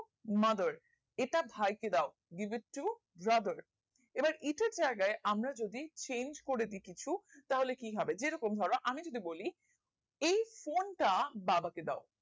mother এটা ভাইকে দাও give to brother এবার এটার জায়গায় আমরা যদি change করে দেই কিছু তাহলে কিভাবে যেরকম আমি যদি বলি এই phone টা বাবাকে দাও